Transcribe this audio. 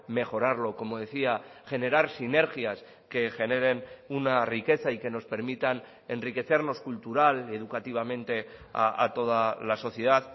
mejorarlo como decía generar sinergias que generen una riqueza y que nos permitan enriquecernos cultural educativamente a toda la sociedad